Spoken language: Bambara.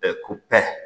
Ɛɛ ko pɛr